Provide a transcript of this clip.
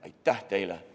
Aitäh teile!